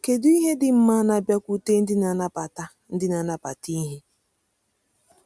Kedu ihe dị mma na-abịakwute ndị na-anabata ndị na-anabata ìhè?